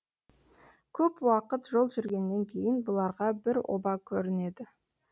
көп уақыт жол жүргеннен кейін бұларға бір оба көрінеді